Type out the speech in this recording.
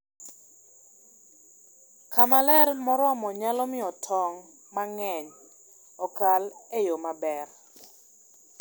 Kama ler moromo nyalo miyo tong' mang'eny okal e yo maber.